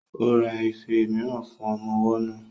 Ó ra ife mìíràn fún ọmọ ọwọ́ náà